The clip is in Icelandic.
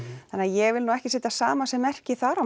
þannig að ég vil nú ekki setja samasemmerki þar á